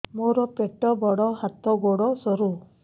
ମୋର ପେଟ ବଡ ହାତ ଗୋଡ ସରୁ